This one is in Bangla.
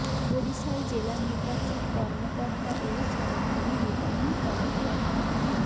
বরিশাল জেলা নির্বাচন কর্মকর্তা ও সহকারী রিটার্নিং কর্মকর্তা মো